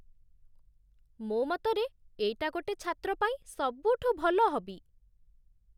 ମୋ ମତରେ, ଏଇଟା ଗୋଟେ ଛାତ୍ର ପାଇଁ ସବୁଠୁ ଭଲ ହବି ।